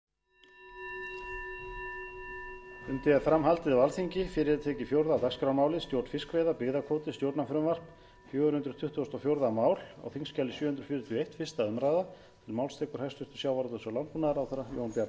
herra forseti ég mæli hér fyrir frumvarp á þingskjali sjö hundruð fjörutíu og eitt sem er fjögur hundruð tuttugustu og fjórða mál en um er að ræða frumvarp til laga um breytingu á lögum númer hundrað og sextán tvö þúsund og sex um